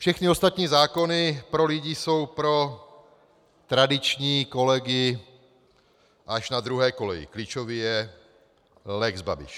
Všechny ostatní zákony pro lidi jsou pro tradiční kolegy až na druhé koleji, klíčový je lex Babiš.